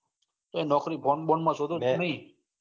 કે નોકરી phone બોન માં શોધો કે નઈ.